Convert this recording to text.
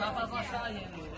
Zavod aşağı yenə.